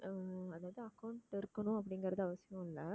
அது வந்து account அப்படிங்கறது அவசியம் இல்லை